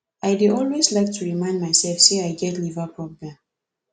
i dey always like to remind myself say i get liver problem